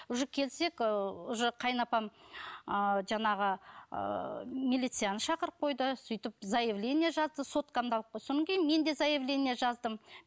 уже келсек ыыы уже қайынапам ыыы жаңағы ыыы милицияны шақырып қойды сөйтіп заявление жазды соткамды алып қойды кейін мен де заявления жаздым